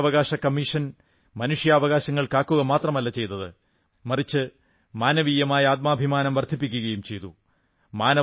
മനുഷ്യാവകാശ കമ്മീഷൻ മനുഷ്യാവകാശങ്ങൾ കാക്കുക മാത്രമല്ല ചെയ്തത് മറിച്ച് മാനവീയമായ ആത്മഭിമാനം വർധിപ്പിക്കയും ചെയ്തു